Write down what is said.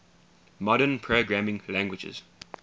modern programming languages